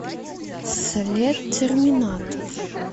след терминатор